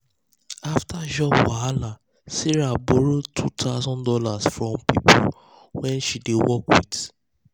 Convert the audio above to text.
after job wahala sarah borrow two thousand dollars from people wey she dey work with.